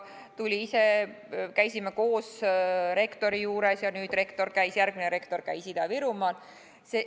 Tuli ise, käisime koos rektori juures ja nüüd järgmine rektor käis Ida-Virumaal.